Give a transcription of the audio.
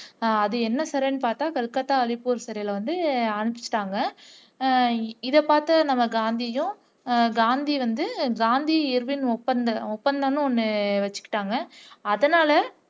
அஹ் அது என்ன சிறைன்னு பார்த்தா கல்கத்தா அலிபூர் சிறைல வந்து அனுப்பிச்சிட்டாங்க உம் இதைப்பார்த்த நம்ம காந்தியும் காந்தி வந்து காந்தி இர்வின் ஒப்பந்தம்னு ஒன்னு வச்சிட்டாங்க அதனால